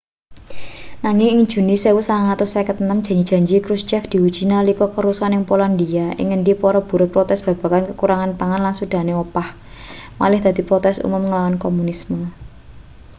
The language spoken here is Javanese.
nanging ing juni 1956 janji-janji krushchev diuji nalika karusuhan ing polandia ing ngendi para buruh protes babagan kakurangan pangan lan sudane opah malih dadi protes umum ngelawan komunisme